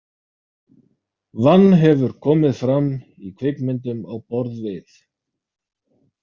Vann hefur komið fram í kvikmyndum á borð við.